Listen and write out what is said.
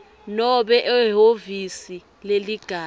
nobe ehhovisi leligatja